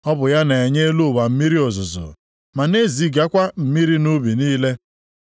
Ọ bụ ya na-enye elu ụwa mmiri ozuzo, ma na-ezigakwa mmiri nʼubi niile.